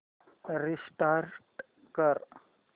restart कर